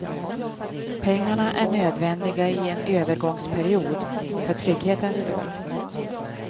Pengarna är nödvändiga i en övergångsperiod, för trygghetens skull.